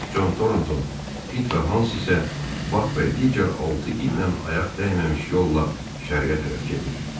Con Tornton, Pit və Hans isə Bak və digər altı itlə ayaq dəyməmiş yolla şərqə tərəf gedir.